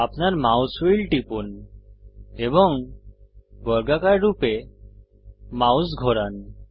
আপনার mouse wheel টিপুন এবং বর্গাকার রূপে মাউস ঘোরান